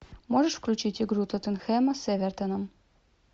можешь включить игру тоттенхэма с эвертоном